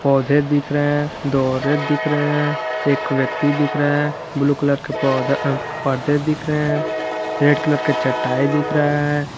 पौधे दिख रहे हैं दो औरत दिख रहे हैं एक व्यक्ति दिख रहा है ब्लू कलर का पौधा पर्दे दिख रहे हैं रेड कलर का चटाई दिख रहा है।